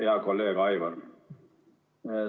Hea kolleeg Aivar!